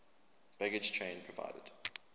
baggage train provided